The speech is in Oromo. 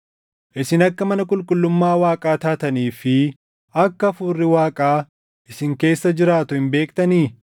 Isin akka mana qulqullummaa Waaqaa taatanii fi akka Hafuurri Waaqaa isin keessa jiraatu hin beektanii?